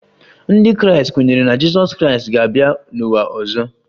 Ndị Kraịst kwenyere na Jizọs Kraịst ga-abịa n'ụwa ọzọ